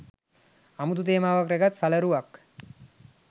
අමුතු තේමාවක් රැගත් සලරුවක්